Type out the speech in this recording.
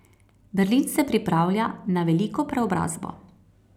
Berlin se pripravlja na veliko preobrazbo.